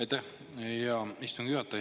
Aitäh, hea istungi juhataja!